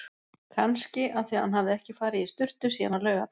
Kannski af því hann hafði ekki farið í sturtu síðan á laugardag.